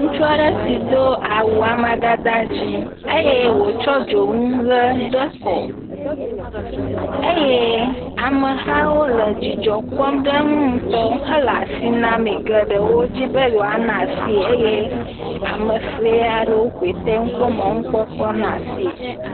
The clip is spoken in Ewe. Ŋutsu si do awu amadede dzɛ̃ eye wòtsɔ dzonu ʋe de kɔ eye amehawo le dzidzɔ kpɔm ɖe ŋu ŋutɔ hele asi name, geɖewo di be yewoana asie, eye ame ŋe aɖewo koe kpɔ mɔnukpɔkpɔ na asie.